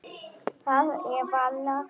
Það er varla að hún teikni.